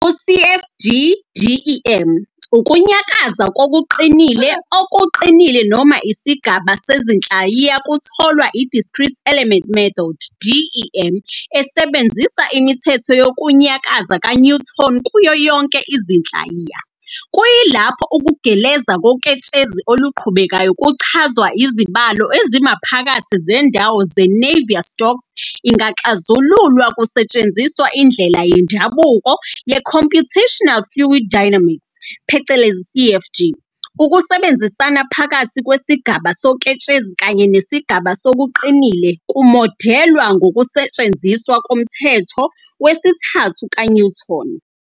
Ku-CFD-DEM, ukunyakaza kokuqinile okuqinile noma isigaba sezinhlayiya kutholwa I-Discrete Element Method, DEM, esebenzisa imithetho yokunyakaza ka-Newton kuyo yonke izinhlayiya, kuyilapho ukugeleza koketshezi oluqhubekayo kuchazwa izibalo ezimaphakathi zendawo ze-Navier-Stokes ingaxazululwa kusetshenziswa indlela yendabuko yeComputational Fluid Dynamics, CFD. Ukusebenzisana phakathi kwesigaba soketshezi kanye nesigaba sokuqinile kumodelwa ngokusetshenziswa komthetho wesithathu ka-Newton.